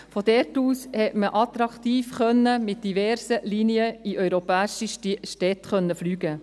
von dort aus konnte man attraktiv mit diversen Linien in europäische Städte fliegen.